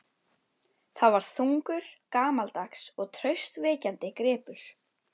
Það var þungur, gamaldags og traustvekjandi gripur.